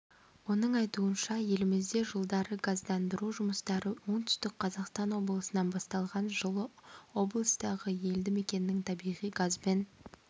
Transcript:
оның айтуынша елімізде жылдары газдандыру жұмыстары оңтүстік қазақстан облысынан басталған жылы облыстағы елді мекеннің табиғи газбен